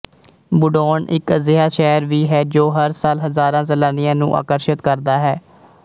ਬੂਡੌਨ ਇੱਕ ਅਜਿਹਾ ਸ਼ਹਿਰ ਵੀ ਹੈ ਜੋ ਹਰ ਸਾਲ ਹਜ਼ਾਰਾਂ ਸੈਲਾਨੀਆਂ ਨੂੰ ਆਕਰਸ਼ਤ ਕਰਦਾ ਹੈ